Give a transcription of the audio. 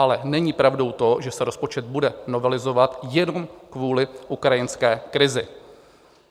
Ale není pravdou to, že se rozpočet bude novelizovat jenom kvůli ukrajinské krizi.